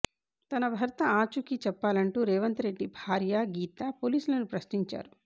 తన భర్త ఆచూకీ చెప్పాలంటూ రేవంత్ రెడ్డి భార్య గీత పోలీసులను ప్రశ్నించారు